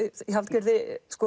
í